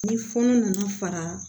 Ni fɔlɔ nana fara